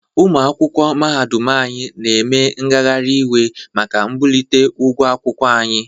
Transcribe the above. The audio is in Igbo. Ụmụ akwụkwọ mahadum anyị na eme ngagharị iwe maka mbulite ụgwọ akwụkwọ anyi.